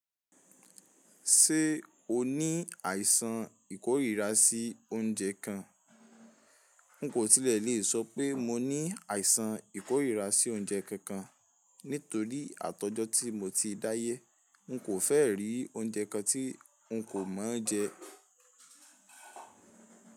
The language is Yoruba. Ṣé o ní àìsàn ìkórìíra sí oúnjẹ kan? N kò tilẹ̀ lè sọ pé, mo ní àìsàn ìkórìíra sí oúnjẹ kankan nítorí àtọ́jọ́ tí mo ti dáyé. N kò fẹ́ rí oúnjẹ kan tí n kò mọ jẹ.